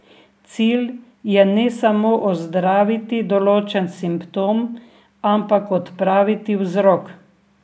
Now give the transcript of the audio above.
Cilj je ne samo ozdraviti določen simptom, ampak odpraviti vzrok.